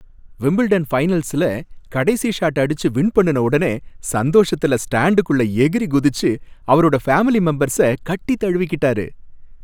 Wimbledon ஃபைனல்ஸ்ல கடைசி shot அடிச்சு வின் பண்ணுன ஒடனே சந்தோஷத்துல ஸ்டாண்டுகுள்ள எகிறி குதிச்சு அவரோட ஃபாமிலி மெம்பர்ஸ்ஸ கட்டி தழுவிகிட்டாரு.